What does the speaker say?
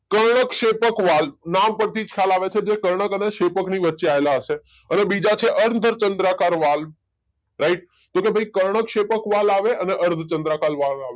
કર્ણકશેપક વાલ નામ પરથી જખાયલ આવે છે કે જે કર્ણક અને શેપક ની વચ્ચે આવેલા હશે. હવે બીજા છે અર્ધચંદ્રાકાર વાલ રાઈટ કે ભાઈ કર્ણકશેપક વાલ આવે અને અર્ધચંદ્રાકાર વાલ આવે